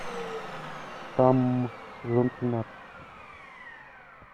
штамм сезон тринадцать